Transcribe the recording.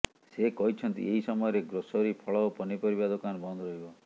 ସେ କହିଛନ୍ତି ଏହି ସମୟରେ ଗ୍ରୋସରୀ ଫଳ ଓ ପନିପରିବା ଦୋକାନ ବନ୍ଦ ରହିବ